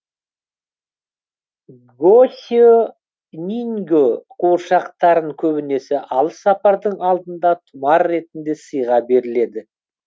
госе нинге қуыршақтарын көбінесе алыс сапардың алдында тұмар ретінде сыйға беріледі